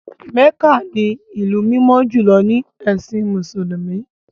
Mecca ni ìlú mímọ́ jùlọ nínú ẹ̀sìn Mùsùlùmí.